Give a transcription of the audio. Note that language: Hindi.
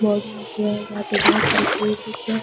वर्क नहीं किया जहाँ पे बहुत सारे पेड़ दिख रहे हैं |